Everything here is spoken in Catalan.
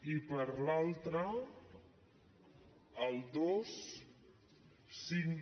i per l’altra el dos cinc